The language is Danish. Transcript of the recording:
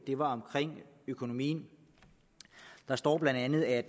økonomien der står bla at